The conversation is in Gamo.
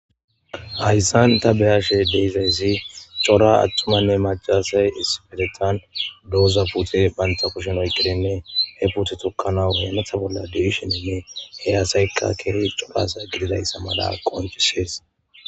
Hayssan ta beyashe deyzayssi cora attumanne macaasay isipetetan dooza pute banta kushen oyqqirinne he pute tukkana hematha bolla deishininne he aasaykka keei corasa gididayssa mala qoncisees.